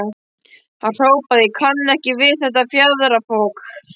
Hann hrópaði: Ég kann ekki við þetta fjaðrafok.